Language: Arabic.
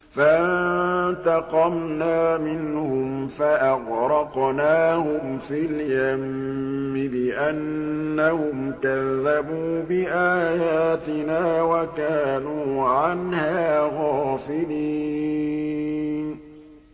فَانتَقَمْنَا مِنْهُمْ فَأَغْرَقْنَاهُمْ فِي الْيَمِّ بِأَنَّهُمْ كَذَّبُوا بِآيَاتِنَا وَكَانُوا عَنْهَا غَافِلِينَ